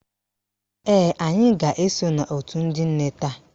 Ee, anyị ga-eso n'òtù ndị nne taa